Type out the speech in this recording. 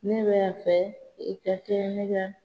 Ne b'a fɛ, i ka kɛ ne ka